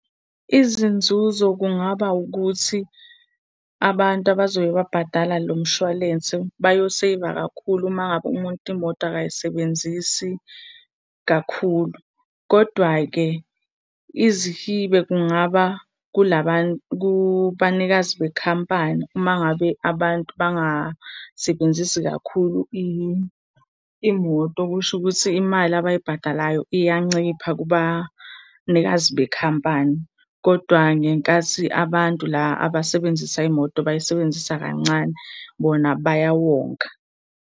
Izinzuzo kungaba wukuthi abantu abazobe babhadala lo mshwalense bayoseyiva kakhulu uma ngabe umuntu imoto akayisebenzisi kakhulu. Kodwa-ke izihibe kungaba kubanikazi bekhampani uma ngabe abantu bangasebenzi kakhulu imoto. Okusho ukuthi imali abayibhadalayo iyancipha kubanikazi bekhampani, kodwa ngenkathi abantu la abasebenzisa imoto bayisebenzisa kancane bona bayawonga.